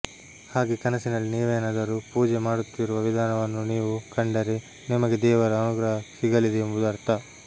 ಹಾಗೆ ಕನಸಿನಲ್ಲಿ ನೀವೆನಾದರು ಪೂಜೆ ಮಾಡುತ್ತಿರುವ ವಿಧಾನವನ್ನು ನೀವು ಕಂಡರೆ ನಿಮಗೆ ದೇವರ ಅನುಗ್ರಹ ಸಿಗಲಿದೆ ಎಂಬುದು ಅರ್ಥ